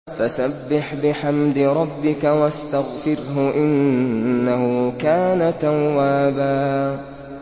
فَسَبِّحْ بِحَمْدِ رَبِّكَ وَاسْتَغْفِرْهُ ۚ إِنَّهُ كَانَ تَوَّابًا